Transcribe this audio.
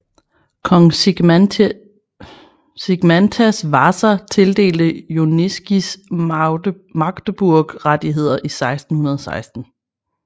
Kong Zigmantas Vaza tildelte Joniškis Magdeburgrettigheder i 1616